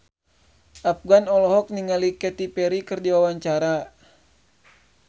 Afgan olohok ningali Katy Perry keur diwawancara